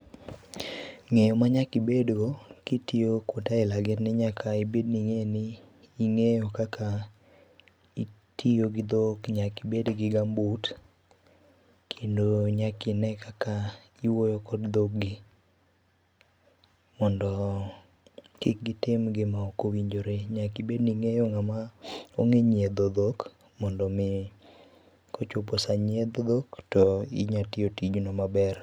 Ng'eyo manyaka ibedgo kitiyo kuonde aila gi en ni nyaka ibed ni ing'eyo kaka itiyo gi dhok, nyaka ibed gi gambut kendo nyaka ine kaka iwuoyo kod dhog gi mondo kik gitim gima ok owinjore. Nyaka ibedni ingeyo ng'ama onge nyiedho dhok mondo mi kochopo saa nyiedho dhok tinya timo tijno maber